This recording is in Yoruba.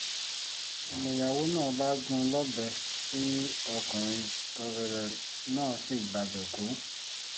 niyàwó náà bá gún un lọ́bẹ̀ tí ọkùnrin náà sì gbabẹ̀ kú